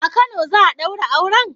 A Kano za'a daura auren?